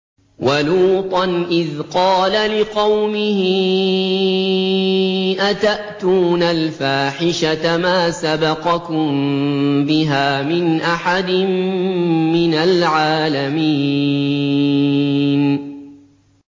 وَلُوطًا إِذْ قَالَ لِقَوْمِهِ أَتَأْتُونَ الْفَاحِشَةَ مَا سَبَقَكُم بِهَا مِنْ أَحَدٍ مِّنَ الْعَالَمِينَ